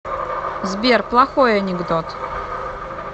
сбер плохой анекдот